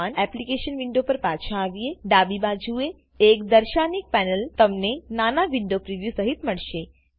application window પર પાછા આવીએ ડાબી બાજુએ એક દર્શાનીક પેનલ તમેન નાના વિન્ડો પ્રિવ્યુ સહીત મળશે